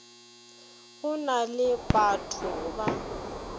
go na le bato ba